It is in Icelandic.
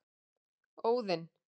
Óðinn